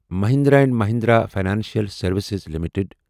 Mahindra and Mahindra financial services limited